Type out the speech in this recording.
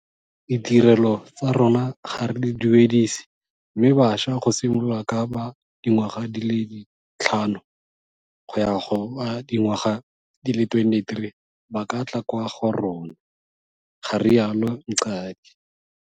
Ditirelo tsa rona ga re di duedise mme bašwa go simolola ka ba dingwaga di le tlhano go ya go ba dingwaga di le 23 ba ka tla kwa go rona, ga rialo Mqadi.